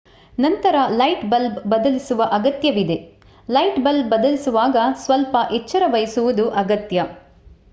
ನಂತರ light bulb ಬದಲಿಸುವ ಅಗತ್ಯವಿದೆ ಲೈಟ್ ಬಲ್ಬ್ ಬದಲಿಸುವಾಗ ಸ್ವಲ್ಪ ಎಚ್ಚರವಹಿಸುವುದು ಅಗತ್ಯ